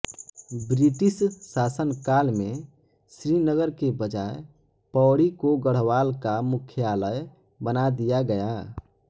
British शासनकाल में श्रीनगर के बजाय पौड़ी को गढ़वाल का मुख्यालय बना दिया गया